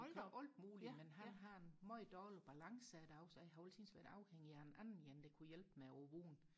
alt muligt men han har en meget dårlig balance i dag så jeg har altid været afhængig af en anden en der kunne hjælpe med vognen